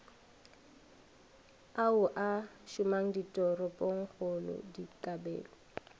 ao a šomang ditoropongkgolo dikabelo